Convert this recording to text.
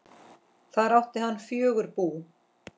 Þar átti hann fjögur bú.